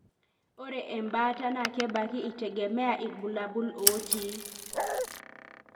ore embaata na kebaki itegemea ilbulabul otii.